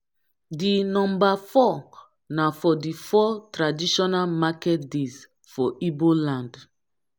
di nomba four na for di four traditional market days for igbo land